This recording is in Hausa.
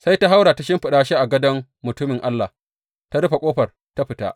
Sai ta haura ta shimfiɗa shi a gadon mutumin Allah, ta rufe ƙofar, ta fita.